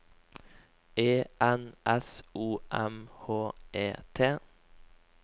E N S O M H E T